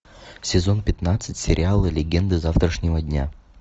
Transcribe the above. сезон пятнадцать сериала легенды завтрашнего дня